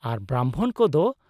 ᱟᱨ ᱵᱨᱟᱢᱵᱷᱚᱱ ᱠᱚᱫᱚ ?